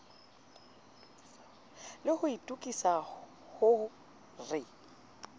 le ho itokisa ho re